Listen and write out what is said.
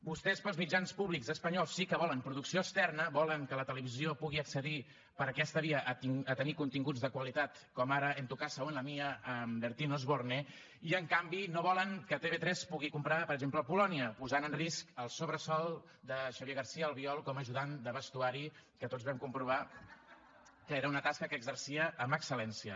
vostès per als mitjans públics espanyols sí que volen producció externa volen que la televisió pugui accedir per aquesta via a tenir continguts de qualitat com ara en la tuya o en la mía amb bertín osborne i en canvi no volen que tv3 pugui comprar per exemple el polònia posant en risc el sobresou de xavier garcía albiol com a ajudant de vestuari que tots vam comprovar que era una tasca que exercia amb excel·lència